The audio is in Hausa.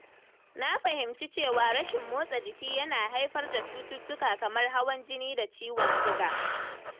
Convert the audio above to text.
Na fahimci cewa rashin motsa jiki yana haifar da cututtuka kamar hawan jini da ciwon siga.